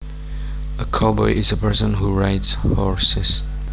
A cowboy is a person who rides horses